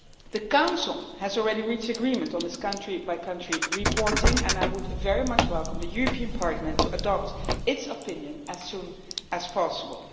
The Council has already reached agreement on this country-by-country reporting, and I would very much welcome the Parliament adopting its opinion as soon as possible.